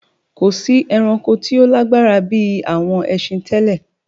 Kò sí ẹranko tí ó lágbára bí àwọn ẹsin tẹ́lẹ.